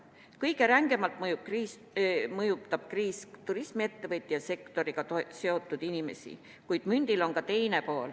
Kõige rängemalt mõjutab kriis turismiettevõtjaid ja -sektoriga seotud inimesi, kuid mündil on ka teine pool.